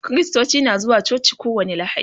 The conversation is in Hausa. kristoci na zuwa coci kowani lahadi